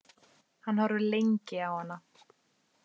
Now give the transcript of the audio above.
Hann horfir lengi á hana.